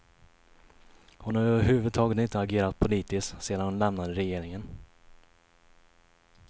Hon har överhuvudtaget inte agerat politiskt sedan hon lämnade regeringen.